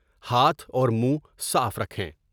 ہاتھ اور منھ صاف رکھیں ۔